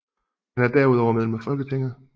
Han er derudover medlem af Folketinget